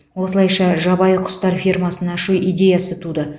осылайша жабайы құстар фермасын ашу идеясы туды